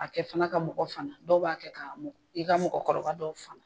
A kɛ fana ka mɔgɔ sama dɔw b'a kɛ' i ka mɔgɔkɔrɔba dɔw sama.